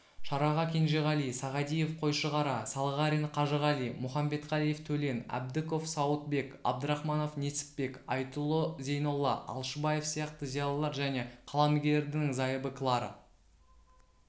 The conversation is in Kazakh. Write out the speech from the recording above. шараға кенжеғали сағадиев қойшығара салғарин қажығали мұхамбетқалиев төлен әбдіков сауытбек абдрахманов несіпбек айтұлы зейнолла алшынбаев сияқты зиялылар және қаламгердің зайыбы клара